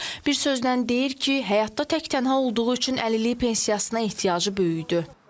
Bir sözlə deyir ki, həyatda tək tənha olduğu üçün əlillik pensiyasına ehtiyacı böyüdü.